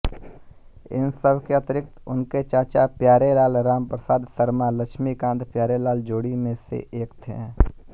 इन सब के अतिरिक्त उनके चाचा प्यारेलाल रामप्रसाद शर्मा लक्ष्मीकांतप्यारेलाल जोड़ी में एक थे